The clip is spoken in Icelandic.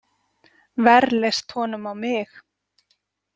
Verr leist honum á mig.